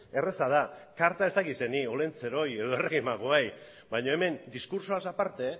erraza da karta ez dakit zeini olentzerori edo errege magoei baino hemen diskurtsoaz aparte